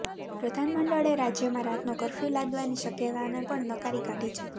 પ્રધાનમંડળે રાજ્યમાં રાતનો કર્ફ્યૂ લાદવાની શક્યતાને પણ નકારી કાઢી છે